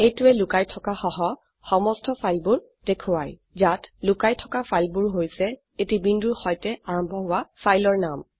এইটোৱে লোকাইথকা সহ সমস্ত ফাইলবোৰ দেখোৱায় ইয়াত লোকাই থকা ফাইলবোৰ হৈছে এটি বিন্দুৰ সৈতে আৰম্ভ হোৱা ফাইলৰ নাম